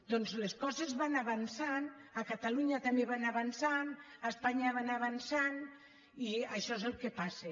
doncs les coses van avançant a catalunya també van avançant a espanya van avançant i això és el que passa